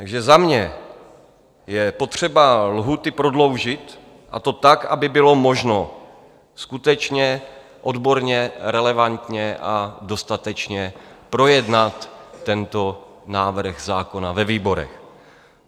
Takže za mě je potřeba lhůty prodloužit, a to tak, aby bylo možno skutečně odborně, relevantně a dostatečně projednat tento návrh zákona ve výborech.